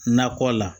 Nakɔ la